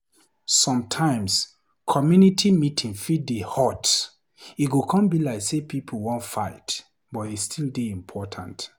Sometimes, community meeting fit dey hot, e go come be like sey pipo wan fight, but e still dey important.